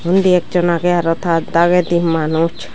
undi ekjon agge aro ta dagendi manus.